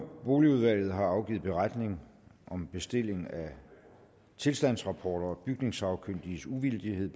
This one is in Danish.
boligudvalget har afgivet beretning om bestilling af tilstandsrapporter og bygningssagkyndiges uvildighed